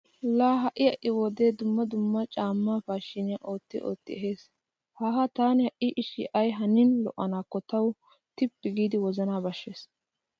Laa ha"i ha"i wodee dumma dumma caammaa paashiine ootti ottidi ehees. Haaha taani ha"i ishshi ay hanin lo'anaakko tawu tippi giidi wozanaa bashshees.